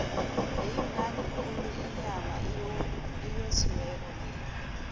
beyimnandi khulu inyama eyosiweko leya